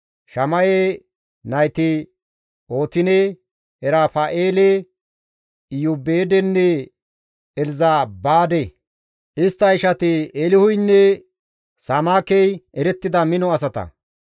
Shama7e nayti Ootine, Erafa7eele, Iyoobeedenne Elzabaade; istta ishati Eelihuynne Samaakey erettida mino asata.